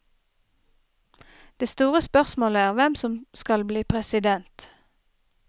Det store spørsmålet er hvem som skal bli president.